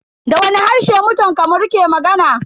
Da wani harshe mutan Kamaru ke magana?